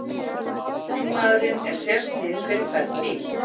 Búnaðurinn er sérsniðinn fyrir hvern bíl